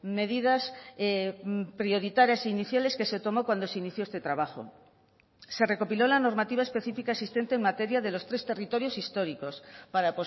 medidas prioritarias iniciales que se tomó cuando se inició este trabajo se recopiló la normativa específica existente en materia de los tres territorios históricos para